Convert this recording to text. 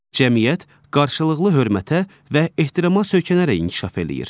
Cəmiyyət qarşılıqlı hörmətə və ehtirama söykənərək inkişaf eləyir.